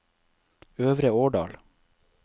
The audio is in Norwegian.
Øvre Årdal